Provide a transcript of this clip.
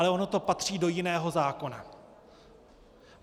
Ale ono to patří do jiného zákona.